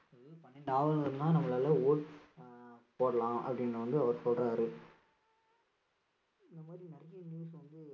பன்னிரண்டு ஆவணங்களால நம்மளால vote அஹ் போடலாம் அப்படின்னு வந்து அவர் சொல்றாரு இந்த மாதிரி நிறைய news வந்து